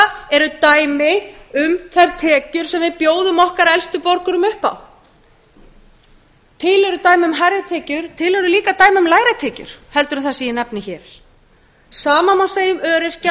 þetta eru dæmi um þær tekjur sem við bjóðum okkar elstu borgurum upp á til eru dæmi um hærri tekjur en til eru líka dæmi um lægri tekjur en það sem ég nefni hér hið sama má segja um öryrkja